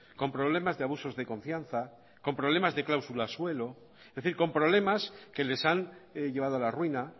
con problemas de abusos de confianza con problemas de cláusulas suelo es decir con problemas que les han llevado a la ruina